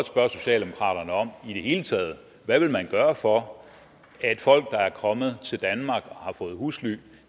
spørge socialdemokraterne om hvad i det hele taget vil gøre for at folk der er kommet til danmark og har fået husly